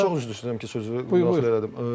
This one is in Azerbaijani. Bəlkə çox üzr istəyirəm ki, sözü müdaxilə elədim.